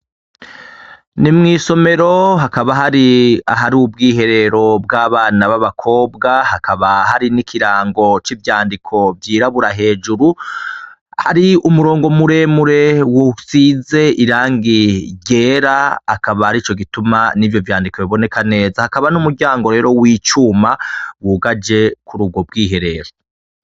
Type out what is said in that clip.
Ni mw'isomero, hakaba hari ahari ubwiherero bw'abana b'abakobwa, hakaba hari n'ikirango c'ivyandiko vyirabura hejuru, hari umurongo muremure usize irangi ryera, akaba arico gituma n'ivyo vyandiko biboneka neza, hakaba n'umuryango rero w'icuma wugaje kuri ubwo bwiherero.